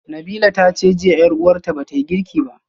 Nabilah tace jiya yar uwarta bata girki ba